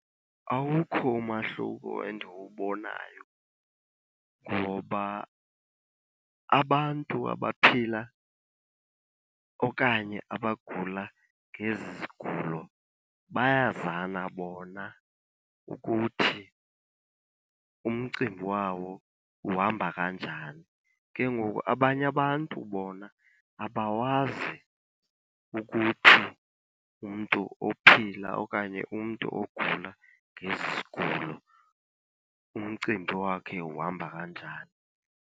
Awukho umahluko endiwubonayo, ngoba abantu abaphila okanye abagula ngezi zigulo bayazana bona ukuthi umcimbi wawo uhamba kanjani. Ke ngoku abanye abantu bona abawazi ukuthi umntu ophila okanye umntu ogula ngezi zigulo umcimbi wakhe uhamba kanjani.